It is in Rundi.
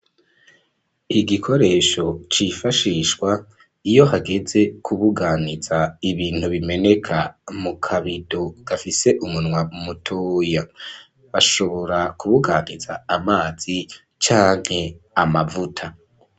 Igikoresho cifashishwa iyo hageze kubuganiza ibintu bimeneka mu kabido gafise umunwa u mutoya bashobora kubuganiza amazi canke amavuta.